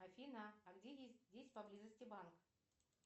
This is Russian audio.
афина а где есть здесь поблизости банк